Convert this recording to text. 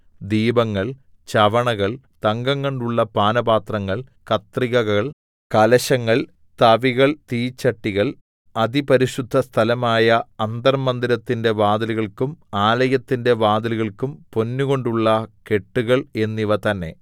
ദീപങ്ങൾ ചവണകൾ തങ്കംകൊണ്ടുള്ള പാനപാത്രങ്ങൾ കത്രികകൾ കലശങ്ങൾ തവികൾ തീച്ചട്ടികൾ അതിപരിശുദ്ധസ്ഥലമായ അന്തർമ്മന്ദിരത്തിന്റെ വാതിലുകൾക്കും ആലയത്തിന്റെ വാതിലുകൾക്കും പൊന്നുകൊണ്ടുള്ള കെട്ടുകൾ എന്നിവ തന്നെ